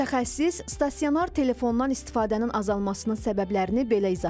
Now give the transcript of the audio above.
Mütəxəssis stasionar telefondan istifadənin azalmasının səbəblərini belə izah edir.